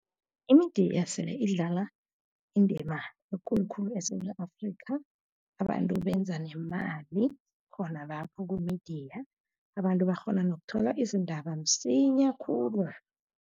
I-media sele idlala indima ekulu khulu eSewula Afrika, abantu benza nemali, khona lapho ku-media. Abantu bakghona nokuthola izindaba msinya khulu.